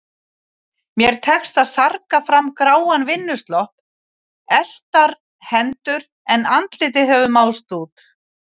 Mér tekst að sarga fram gráan vinnuslopp, eltar hendur, en andlitið hefur máðst út.